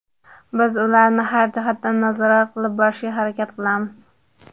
Biz ularni har jihatdan nazorat qilib borishga harakat qilamiz.